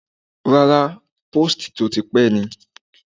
Rárá, póòstì tó ti pẹ́ ni.